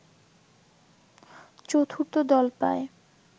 চতুর্থ দল পায়